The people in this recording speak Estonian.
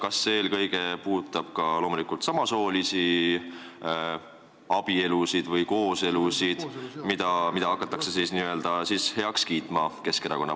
Kas see puudutab ka samasoolisi abielusid või kooselusid, mida Keskerakond hakkab heaks kiitma?